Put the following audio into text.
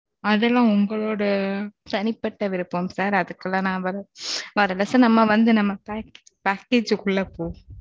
அதுல உங்களோட தனிப்பட்ட விருப்பம் sir அதுக்குள்ள நான் வரல சார். நம்ம வந்து package க்குள்ள போ